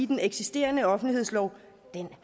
den eksisterende offentlighedslov